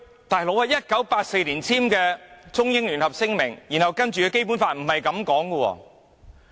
但是 ，1984 年簽署的《中英聯合聲明》，以及隨後的《基本法》可不是這樣說。